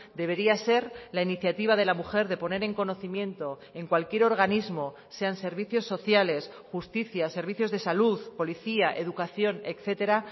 debería ser la iniciativa de la mujer de poner en conocimiento en cualquier organismo sean servicios sociales justicia servicios de salud policía educación etcétera